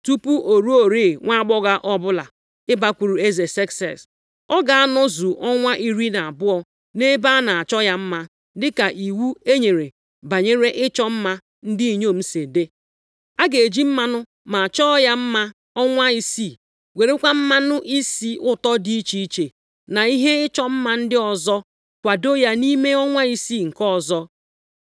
Tupu o ruoro nwaagbọghọ ọbụla ibakwuru eze Sekses, ọ ga-anọzu ọnwa iri na abụọ nʼebe a na-achọ ya mma dịka iwu e nyere banyere ịchọ mma ndị inyom si dị. A ga-eji mmanụ máá chọọ ya mma ọnwa isii, werekwa mmanụ isi ụtọ dị iche iche, na ihe ịchọ mma ndị ọzọ kwadoo ya nʼime ọnwa isii nke ọzọ.